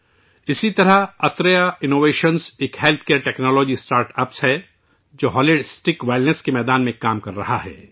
اسی طرح، صحت کی دیکھ بھال کی ٹیکنالوجی کا ایک startup Atreya innovation ہے ، جو مجموعی تندرستی کے شعبے میں کام کر رہا ہے